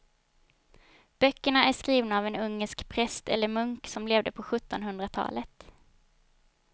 Böckerna är skrivna av en ungersk präst eller munk som levde på sjuttonhundratalet.